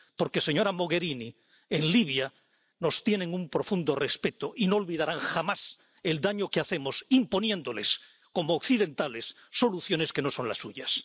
Porque, señora Mogherini, en Libia nos tienen un profundo respeto y no olvidarán jamás el daño que hacemos imponiéndoles, como occidentales, soluciones que no son las suyas